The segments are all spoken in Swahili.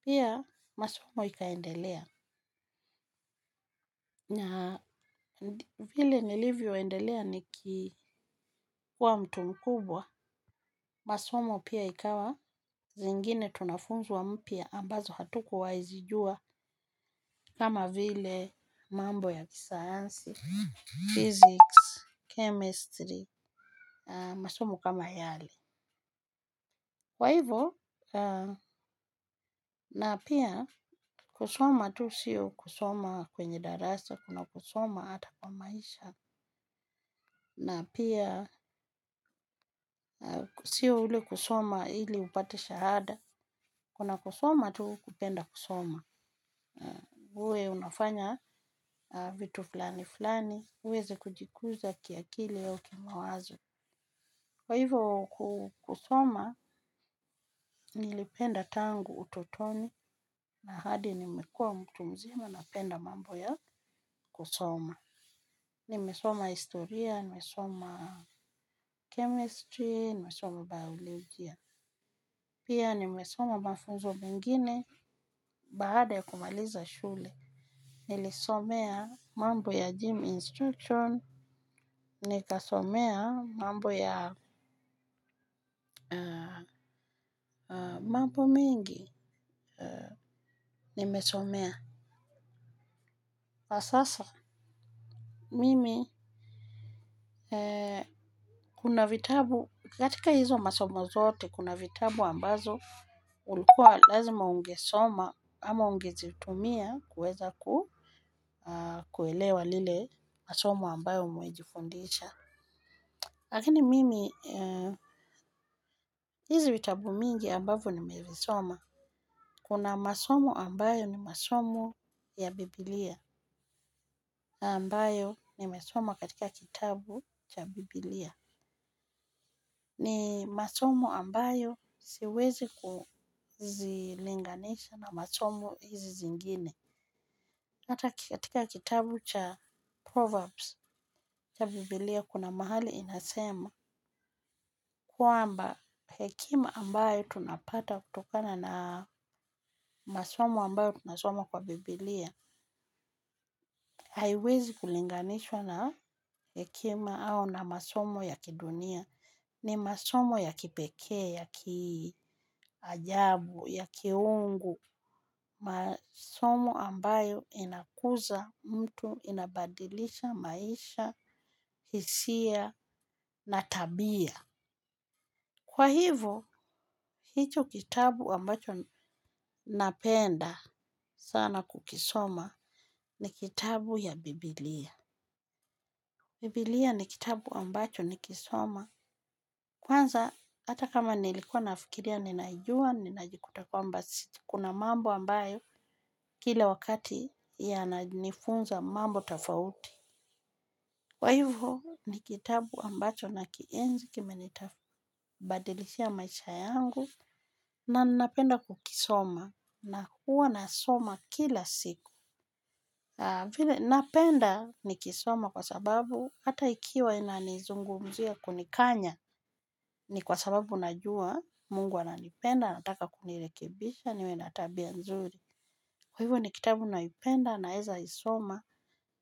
pia masomo ikaendelea. Na vile nilivyoendelea niki nikiwa mtu mkubwa, masomo pia ikawa zingine, tunafundishwa mapya ambayo hatukuwa tunayajua kama vile mambo ya kisayansi, physics, chemistry, na masomo kama yale. Kwa hivyo, na pia kusoma tu si kusoma tu kwenye darasa kuna kusoma kwenye maisha. Na pia siyo ule kusoma ili upate shahada, kuna kusoma tu kupenda kusoma, uwe unafanya vitu fulani fulani, uweze kujikuza kiakili na kimawazo. Kwa hivyo kusoma, nilipenda tangu utotoni na hadi nimekua mtu mzima napenda mambo ya kusoma. Nimesoma historia, nimesoma chemistry, nimesoma biologia. Pia nimesoma mafunzo mengine baada ya kumaliza shule. Nilisomea mambo ya gym instruction, nikasomea mambo ya, mambo mingi. Nimesomea. Kwa sasa mimi kuna vitabu, katika hizo masomo zote kuna vitabu ambavyo ilikuwa lazima uvisome au uvitumie kuweza kuelewa lile masomo ambayo mnajifunza. Lakini mimi hizi vitabu mingi ambavyo nimevisoma kuna masomo ambayo ni masomo ya Biblia ambayo nimesoma katika kitabu cha Biblia. Ni masomo ambayo siwezi kuzilinganisha na masomi hizi zingine. Hata katika kitabu cha Proverbs cha Biblia kuna mahali inasema kwamba hekima ambayo tunapata kutokana na masomo ambayo tunasoma kwa Biblia haiwezi kulinganishwa na hekima au na masomo ya kidunia ni masomo ya kipekee, ya kiajabu, ya kiungu masomo ambayo inakuza mtu, inabadilisha, maisha, hisia, na tabia kwa hivo, hicho kitabu ambacho napenda sana kukisoma ni kitabu ya Biblia Biblia ni kitabu ambacho nikisoma kwanza, hata kama nilikuwa nafikiria, ninaijua, ninajikuta kwamba kuna mambu ambayo kila wakati yananifunza mambo tofauti. Kwa hivyo ni kitabu ambacho nakienzi kimenibadilishia maisha yangu na ninapenda kukisoma na huwa nasoma kila siku. Vile napenda nikisoma kwa sababu hata ikiwa inanizungumzia kunikanya ni kwa sababu najua Mungu ananipenda anataka kunirekebisha niwe na tabia nzuri. Kwa hivyo ni kitabu naipenda naeza isoma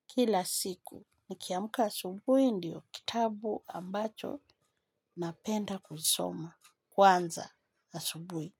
kila siku. Nikiamka asubui ndiyo kitabu ambacho napenda kuisoma. Kwanza asubui.